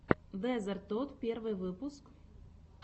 дезертод первый выпуск